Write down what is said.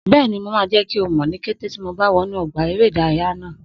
Bẹ́ẹ̀ni, mo máa jẹ́ kí mọ̀ ní kété tí mo bá wọnú ọgbà eré ìdárayá náà